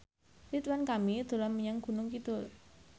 Ridwan Kamil dolan menyang Gunung Kidul